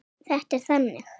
Þetta er þannig.